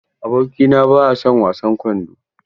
Abokina ba ya son wasan kwando.